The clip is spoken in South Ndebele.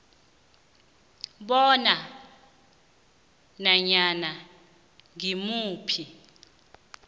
bona nanyana ngimuphi